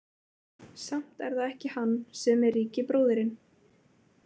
Samt er það ekki hann sem er ríki bróðirinn.